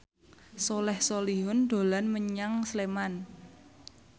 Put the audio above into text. Soleh Solihun dolan menyang Sleman